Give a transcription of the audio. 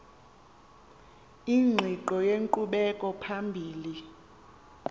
ingqiqo yenkqubela phambili